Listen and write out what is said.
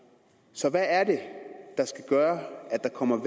så hvad er det der skal gøre at der kommer